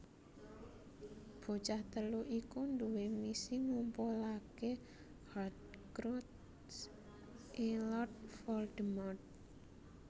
Bocah telu iku duwé misi ngumpulake Horcrux e Lord Voldemort